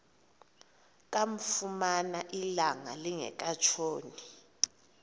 kamfumana ilanga lingekatshoni